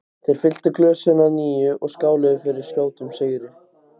Þeir fylltu glösin að nýju og skáluðu fyrir skjótum sigri.